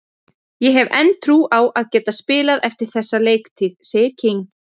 Ég hef enn trú á að geta spilað eftir þessa leiktíð, sagði King.